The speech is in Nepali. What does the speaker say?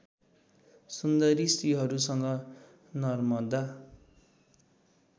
सुन्दरी स्त्रीहरूसँग नर्मदा